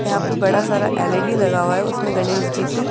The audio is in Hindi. यहां पे बड़ा सारा एल_ई_डी लगा हुआ है उसमें गणेश जी की--